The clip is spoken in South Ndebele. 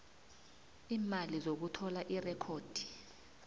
iimali zokuthola irekhodi